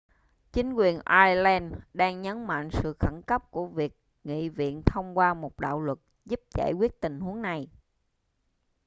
chính quyền ireland đang nhấn mạnh sự khẩn cấp của việc nghị viện thông qua một đạo luật giúp giải quyết tình huống này